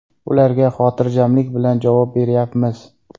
Ularga xotirjamlik bilan javob beryapmiz.